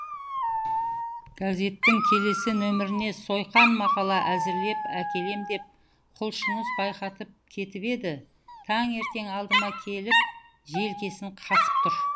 газеттің келесі нөміріне сойқан мақала әзірлеп әкелем деп құлшыныс байқатып кетіп еді таңертең алдыма келіп желкесін қасып тұр